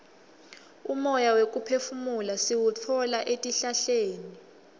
umoya wekuphefumula siwutfola etihlahleni